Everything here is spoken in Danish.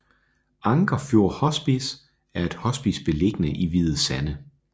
Anker Fjord Hospice er et hospice beliggende i Hvide Sande